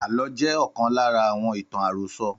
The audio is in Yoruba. Àlọ́ jẹ́ ọ̀kan lára ​​àwọn ìtàn àròsọ